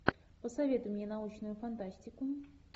посоветуй мне научную фантастику